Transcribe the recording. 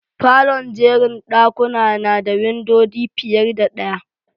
Falon'jerin dakuna na da windodi fiyar da daya.